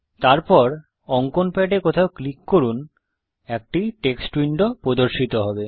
তারপর অঙ্কন প্যাডে কোথাও ক্লিক করুন একটি টেক্সট উইন্ডো প্রদর্শিত হবে